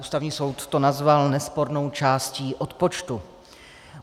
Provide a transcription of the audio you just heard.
Ústavní soud to nazval nespornou částí odpočtu.